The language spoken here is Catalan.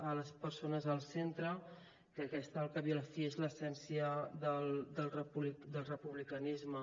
a les persones al centre que aquesta al cap i a la fi és l’essència del republicanisme